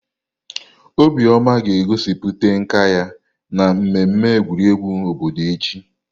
Obioma ga-egosipụta nka ya na mmemme egwuregwu obodo echi.